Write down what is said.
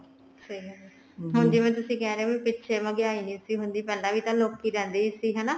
ਫੇਰ ਹੁਣ ਜਿਵੇਂ ਤੁਸੀਂ ਕਿਹ ਰਹੇ ਹੋ ਵੀ ਪਿੱਛੇ ਮਹਿੰਗਾਈ ਨੀ ਸੀ ਹੁੰਦੀ ਪਹਿਲਾਂ ਵੀ ਤਾਂ ਲੋਕੀ ਰਹਿੰਦੇ ਹੀ ਸੀ ਹਨਾ